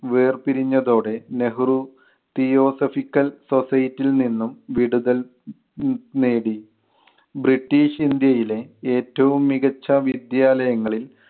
വേർപിരിഞ്ഞതോടെ Nehru theosophical society ൽ നിന്നും വിടുതൽ നേടി. ബ്രിട്ടീഷ് ഇന്ത്യയിലെ ഏറ്റവും മികച്ച വിദ്യാലയങ്ങളിൽ